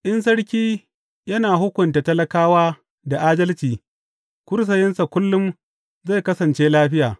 In sarki yana hukunta talakawa da adalci kursiyinsa kullum zai kasance lafiya.